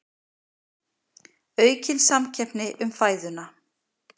Aukin samkeppni um fæðuna